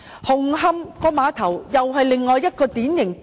紅磡碼頭又是另一個經典例子。